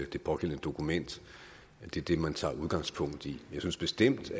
det pågældende dokument er det man tager udgangspunkt i jeg synes bestemt